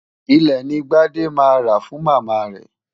Ilẹ̀ ni Gbádé máa rà fún Màmá rẹ̀.